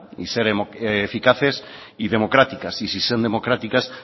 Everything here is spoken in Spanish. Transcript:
y ser eficaces y democráticas y si son democráticas